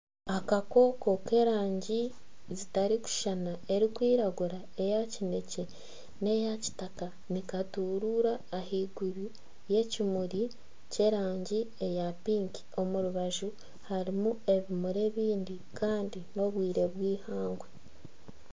Akakooko k'erangi zitarikushushana erikwiragura eya kinekye, n'eya kitaka nikaturura ahaiguru y'ekimuri kyerangi eya piki omu rubaju harimu ebimuri ebindi kandi n'obwire bwihangwe